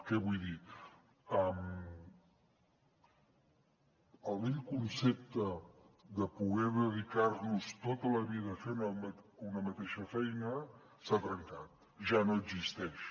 què vull dir el vell concepte de poder dedicar nos tota la vida a fer una mateixa feina s’ha trencat ja no existeix